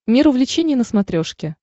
мир увлечений на смотрешке